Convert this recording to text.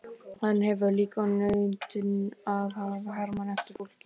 Hann hefur líka nautn af að herma eftir fólki.